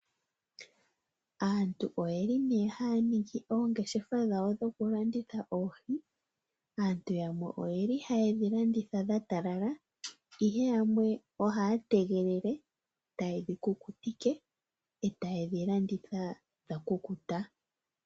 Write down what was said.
Aantu oyeli ne haya ningi oongeshefa dhawo dhoku landitha oohi. Aantu yamwe oyeli hayedhi landitha dha talala ihe yamwe ohaya tegelele eta yedhi kukutike, eta yedhi landitha dha kukuta.